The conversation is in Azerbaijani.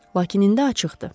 Lakin indi açıqdır.